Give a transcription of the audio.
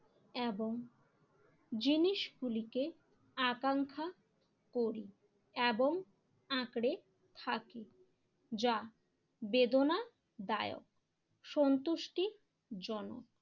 এবং জিনিসগুলিকে আকাঙ্ক্ষা করি এবং আঁকড়ে থাকি যা বেদনা দায়ক সন্তুষ্টি জনক।